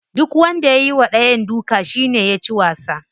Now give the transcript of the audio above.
Duk wanda ya yiwa dayan duka shine yaci wasa.